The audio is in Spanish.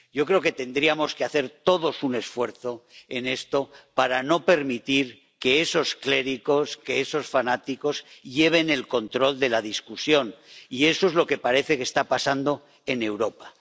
Yo creo que tendríamos que hacer todos un esfuerzo en esto para no permitir que esos clérigos, que esos fanáticos lleven el control de la discusión y eso es lo que parece que está pasando en Europa.